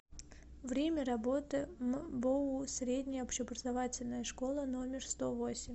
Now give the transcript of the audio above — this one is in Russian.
время работы мбоу средняя общеобразовательная школа номер сто восемь